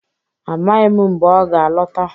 Amaghị m mgbe ọ ga-alọta